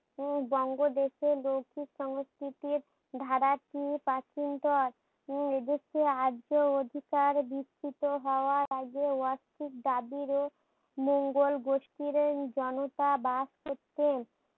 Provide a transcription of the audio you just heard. উম বঙ্গ দেখে লৌখিক সংস্কৃতির ধারা টি প্রাচীনতর উম এ দেশে আজও অধিকার বৃস্তিতো হওয়ার আগে অস্থির দাবির ও মঙ্গল গোষ্ঠীর এই জনতা বাস করতেন।